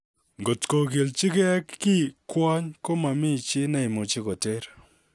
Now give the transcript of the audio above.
Kotkogilji kee kii kwony, ko momii chi neimuchi koteer.